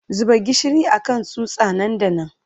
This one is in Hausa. Zuba gishiri a kan tsutsa nan da nan!